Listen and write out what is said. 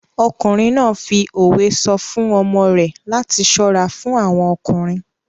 Ọkùnrin náà fi òwe sọ fún ọmọ rẹ̀ láti ṣọ́ra fún àwọn ọkùnrin.